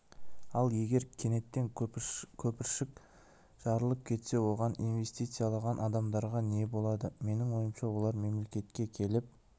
ал егер кенеттен көпіршік жарылып кетсе оған инвестициялаған адамдарға не болады менің ойымша олар мемлекетке келіп